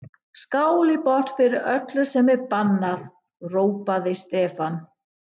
Skál í botn fyrir öllu sem er bannað! hrópaði Stefán.